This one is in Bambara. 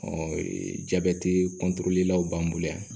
jabɛti law b'an bolo yan